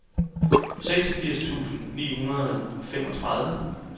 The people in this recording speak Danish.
seksogfirs tusind ni hundrede og femogtredive